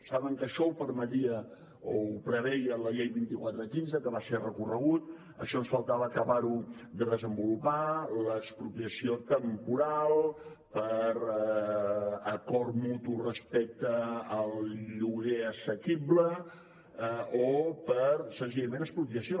saben que això ho permetia o ho preveia la llei vint quatre quinze que va ser recorreguda això ens faltava acabar ho de desenvolupar l’expropiació temporal per acord mutu respecte al lloguer assequible o per senzillament expropiació